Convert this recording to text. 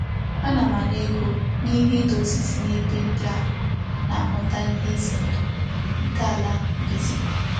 Ana m Ana ego n'ihi Ido osisi n'ebe ndi a na-ahuta ihe ize ndu nke ala mbize.